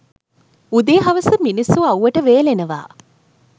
උදේ හවස මිනිස්සු අව්වට වේලෙනවා